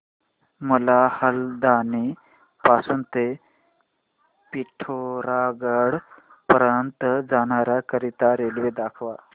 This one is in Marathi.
मला हलद्वानी पासून ते पिठोरागढ पर्यंत जाण्या करीता रेल्वे दाखवा